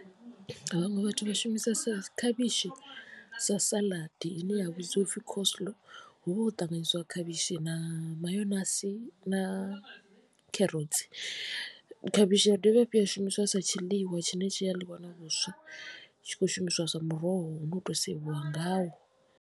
Vhaṅwe vhathu vha shumisa khavhishi sa saḽadi ine ya vhidziwa u pfhi coslow hu vha ho ṱanganyisiwa khavhishi na mayonasi na kherotsi khavhishi ya dovha hafhu ya shumiswa sa tshiḽiwa tshine tshi a ḽiwa na vhuswa tshi khou shumiswa zwa muroho une u to sevhiwa ngao.